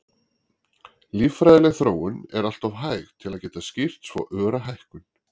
Líffræðileg þróun er alltof hæg til að geta skýrt svo öra hækkun.